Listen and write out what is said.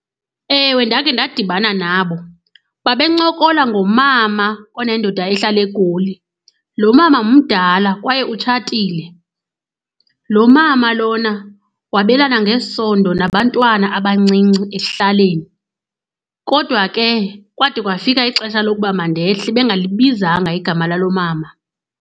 Ewe, ndakhe ndadibana nabo. Babencokola ngomama onendoda ehlala eGoli. Lo mama mdala kwaye utshatile. Lo mama lona wabelana ngesondo nabantwana abancinci ekuhlaleni kodwa ke kwade kwafika ixesha lokuba mandehle bengalibizanga igama lalo mama.